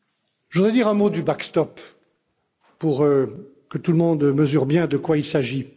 Je voudrais dire un mot du backstop pour que tout le monde mesure bien de quoi il s'agit.